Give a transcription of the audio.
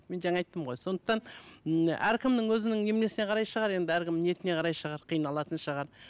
мен жаңа айттым ғой сондықтан ммм әркімнің өзінің неменесіне қарай шығар енді әркімнің ниетіне қарай шығар қиналатын шығар